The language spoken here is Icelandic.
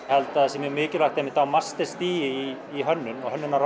held að það sé mjög mikilvægt einmitt á í hönnun og hönnun og